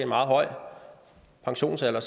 pensionsalderen